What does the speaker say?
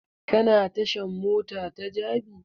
Ka na tashan mota ta jabi?